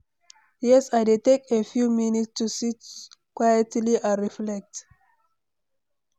Yes, i dey take a few minutes to sit quietly and reflect.